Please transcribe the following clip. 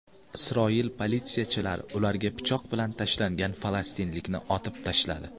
Isroil politsiyachilari ularga pichoq bilan tashlangan falastinlikni otib tashladi.